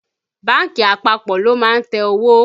Bánkì àpapọ̀ ló má ń tẹ owó